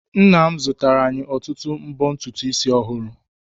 Nna m zụtara anyị ọtụtụ mbo ntutu isi ọhụrụ.